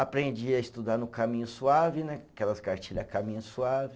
Aprendi a estudar no caminho suave né, aquelas cartilha caminho suave.